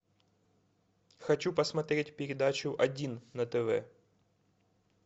хочу посмотреть передачу один на тв